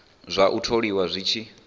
zwa u tholiwa zwi tshi